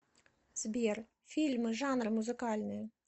сбер фильмы жанры музыкальные